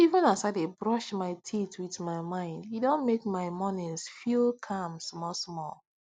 even as i dey brush my teeth with my mind e don make my mornings feel calm small small